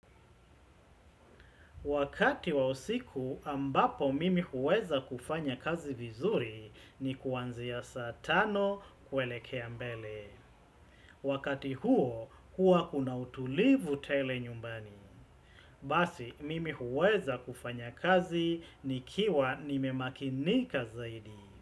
Wakati wa usiku, ambapo mimi huweza kufanya kazi vizuri ni kuanzia saa tano kuelekea mbele. Wakati huo, huwa kuna utulivu tele nyumbani. Basi, mimi huweza kufanya kazi nikiwa nimemakinika zaidi.